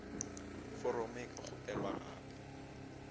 foromo e ka kgopelwa gape